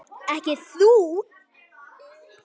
Ekki þú.